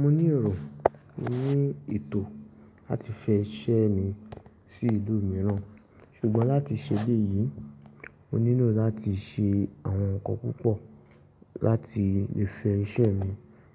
Mo ní èrò ní ètò láti fẹ́ iṣẹ́ mi sí ìlú mìíràn, ṣùgbọ́n láti ṣe biyí, mo nílò láti ṣe àwọn ǹkan púpọ̀ láti lè fẹ́ iṣẹ́ mi